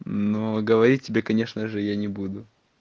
но говорить тебе конечно же я не буду